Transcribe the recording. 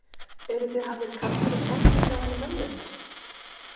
Eruð þið hafðir kaldir og svangir hjá henni mömmu ykkar?